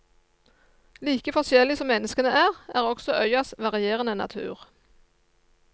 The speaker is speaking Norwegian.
Like forskjellig som menneskene er, er også øyas varierende natur.